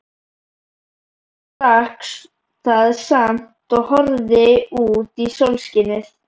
Hann drakk það samt og horfði út í sólskinið.